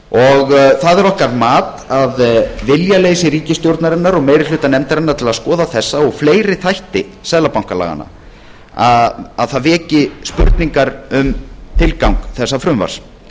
það er okkar mat að viljaleysi ríkisstjórnarinnar og meiri hluta nefndarinnar til að skoða þessa og fleiri þætti seðlabankalaganna veki spurningar um tilgang þessa frumvarps